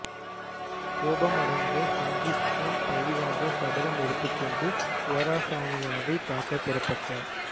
கோபமடைந்த செங்கிஸ்கான் பழிவாங்க சபதம் எடுத்துக் கொண்டு குவாரசாமியாவை தாக்க புறப்பட்டார்